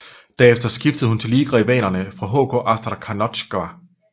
Derefter skiftede hun til ligarivalerne fra HK Astrakhanotjka